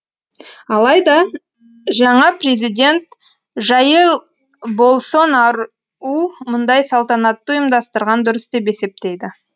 алайда жаңа президент жаир болсонар мұндай салтанатты ұйымдастырған дұрыс деп есептейді